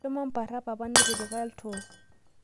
Shomo mpara papa netipika ltoo